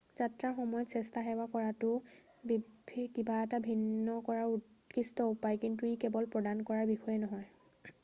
যাত্ৰাৰ সময়ত স্বেচ্ছাসেৱা কৰাটো কিবা এটা ভিন্ন কৰাৰ উৎকৃষ্ট উপায় কিন্তু ই কেৱল প্ৰদান কৰাৰ বিষয়েই নহয়